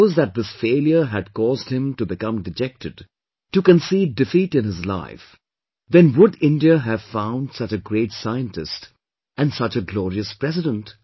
Now suppose that this failure had caused him to become dejected, to concede defeat in his life, then would India have found such a great scientist and such a glorious President